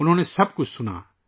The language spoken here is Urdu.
انہوں نے سب کچھ سنا